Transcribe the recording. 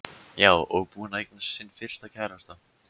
Já, og búin að eignast sinn fyrsta kærasta.